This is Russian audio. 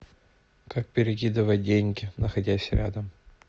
как перекидывать деньги находясь рядом